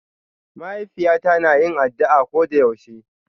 Ma'haifiyata na yin addu'a koda yaushe.